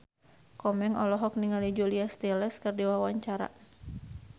Komeng olohok ningali Julia Stiles keur diwawancara